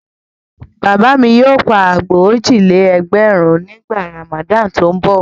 Bàbá mi yóò pa àgbò òjì-lé-ẹgbẹ̀rún nígbà Ramadan tó ń bọ̀.